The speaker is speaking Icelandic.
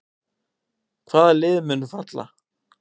Hvaða lið munu falla?